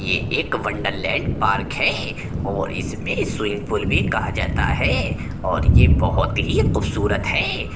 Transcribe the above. ये एक wonderland park है और इसमें स्वीमींग पूल भी कहा जाता है और ये बोहोत ही खुबसूरत है।